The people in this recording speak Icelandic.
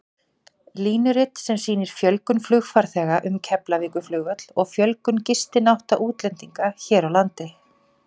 Línurit sem sýnir fjölgun flugfarþega um Keflavíkurflugvöll og fjölgun gistinátta útlendinga hér á landi.